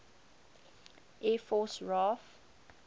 air force raaf